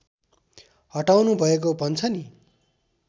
हटाउनु भएको भन्छ नि